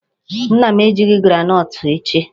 Nna m ejighị groundnut achị.